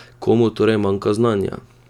Komu torej manjka znanja?